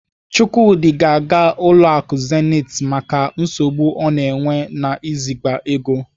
Chukwudi ga-aga ụlọ akụ Zenith maka nsogbu ọ na-enwe n'iziga ego.